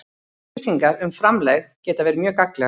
Upplýsingar um framlegð geta verið mjög gagnlegar.